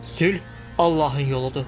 Sülh Allahın yoludur.